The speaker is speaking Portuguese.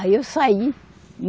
Aí eu saí.